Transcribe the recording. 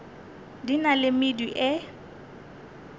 di na le medu e